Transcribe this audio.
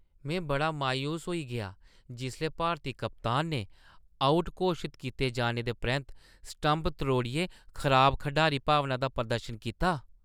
में बड़ा मायूस होई गेआ जिसलै भारती कप्तान ने आउट घोशत कीते जाने दे परैंत्त स्टंप त्रोड़ियै खराब खढारी-भावना दा प्रदर्शन कीता।